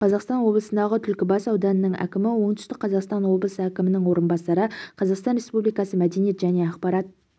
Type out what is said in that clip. қазақстан облысындағы түлкібас ауданының әкімі оңтүстік қазақстан облысы әкімінің орынбасары қазақстан республикасы мәдениет және ақпарат